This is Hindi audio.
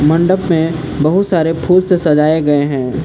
मंडप में बहुत सारे फूल से सजाए गए हैं।